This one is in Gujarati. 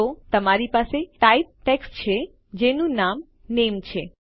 તો તમારી પાસે ટાઇપ ટેક્સ્ટ છે જેનું નામ નામે છે